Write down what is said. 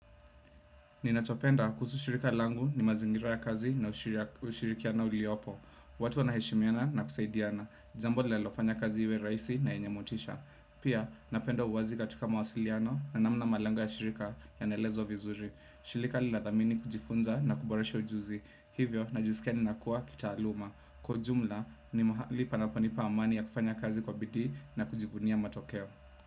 Ninachopenda kuhusu shirika langu ni mazingira ya kazi na ushirikiano uliopo. Watu wanaheshimiana na kusaidiana jambo linlalofanya kazi iwe rahisi na yenye motisha. Pia napenda uwazi katika mawasiliano na namna malengo ya shirika yanaelezwa vizuri. Shirika linathamini kujifunza na kuboresha ujuzi. Hivyo najisikia ninakua kitaaluma. Kwa ujumla ni mahali panaponipa amani ya kufanya kazi kwa bidii na kujivunia matokeo.